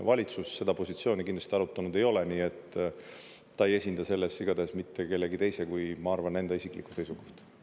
Valitsus seda positsiooni kindlasti arutanud ei ole, nii et ta ei esinda selles igatahes mitte kellegi teise kui, ma arvan, enda isiklikku seisukohta.